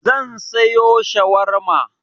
Zan sayo shawarma.